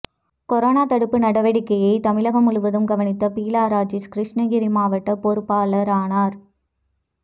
corona தடுப்பு நடவடிக்கையை தமிழகம் முழுவதும் கவனித்த பீலா ராஜேஷ் கிருஷ்ணகிரி மாவட்ட பொறுப்பாளரானார்